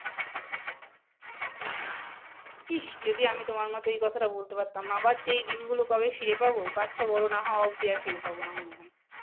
ইসস যদি আমি তোমার মতো এই কথাটা বলতে পারতাম আবার যে দিন গুলো আবার কবে ফিরে পাবো বাচ্চা বড়ো হওয়া নাহ অব্দি ফিরে পাব নাহ মনে হয় ।